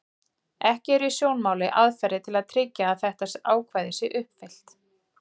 Ekki eru í sjónmáli aðferðir til að tryggja að þetta ákvæði sé uppfyllt.